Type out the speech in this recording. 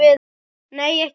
Nei, ekki beint.